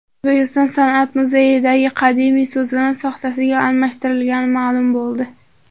O‘zbekiston san’at muzeyidagi qadimiy so‘zana soxtasiga almashtirilgani ma’lum bo‘ldi.